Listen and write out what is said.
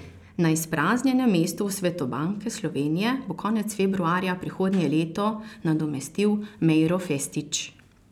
Na izpraznjenem mestu v svetu Banke Slovenije bo konec februarja prihodnje leto nadomestil Mejro Festić.